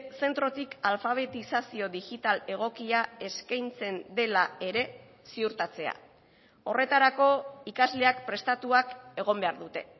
zentrotik alfabetizazio digital egokia eskaintzen dela ere ziurtatzea horretarako ikasleak prestatuak egon behar dute